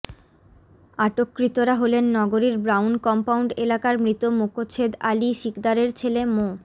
আটককৃতরা হলেন নগরীর brown compound এলাকার মৃত মোকছেদ আলী সিকদারের ছেলে মো